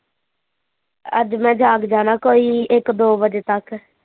ਅੱਜ ਮੈਂ ਜਾਗ ਜਾਣਾ ਕੋਈ ਇੱਕ ਦੋ ਵਜੇ ਤੱਕ